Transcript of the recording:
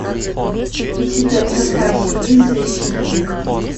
у тебя в запасе есть защитник